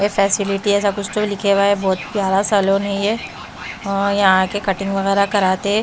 ए facility ऐसा कुछ तो लिखे हुआ है बहुत प्यारा सा लोन है ये ओ यहाँ आके कटिंग वगैरह कराते हैं।